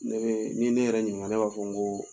Ne n'i ye ne yɛrɛ ɲininka ne b'a fɔ n ko